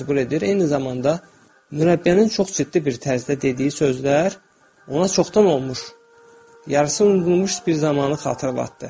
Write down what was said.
Eyni zamanda, mürəbbiyənin çox ciddi bir tərzdə dediyi sözlər ona çoxdan unudulmuş, yarısı unudulmuş bir zamanı xatırlatdı.